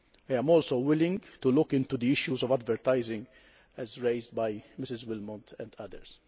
I am also willing to look into the issues of advertising as raised by Mrs Willmott and others.